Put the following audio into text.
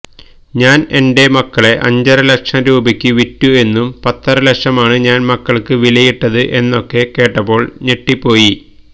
ഞാൻ എന്റെ മക്കളെ അഞ്ചര ലക്ഷം രൂപക്ക് വിറ്റു എന്നും പത്തരലക്ഷമാണ് ഞാൻ മക്കൾക്ക് വിലയിട്ടത് എന്നൊക്കെ കേട്ടപ്പോൾ ഞെട്ടിപ്പോയി